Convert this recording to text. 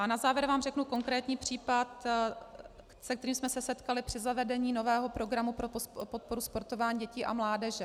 A na závěr vám řeknu konkrétní příklad, se kterým jsme se setkali při zavedení nového programu pro podporu sportování dětí a mládeže.